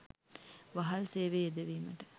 වහල් සේවයේ යෙදවීමට